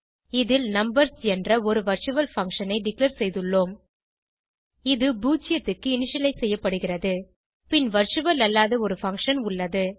இதில் நம்பர்ஸ் என்ற ஒரு வர்ச்சுவல் பங்ஷன் ஐ டிக்ளேர் செய்துள்ளோம் இது 0 க்கு இனிஷியலைஸ் செய்யப்படுகிறது பின் வர்ச்சுவல் அல்லாத ஒரு பங்ஷன் உள்ளது